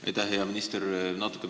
Aitäh, hea minister!